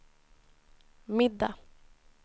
middag